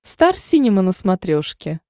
стар синема на смотрешке